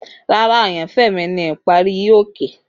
Rara, ayanfẹ mi ni ipare hi-oke.